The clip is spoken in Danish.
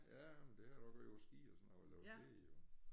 Ja men det har jeg da også gjort på ski og sådan noget og lavet det jo